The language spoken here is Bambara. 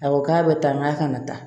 A ko k'a bɛ tan k'a kana taa